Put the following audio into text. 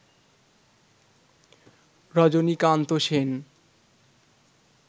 Rajinikanth Sen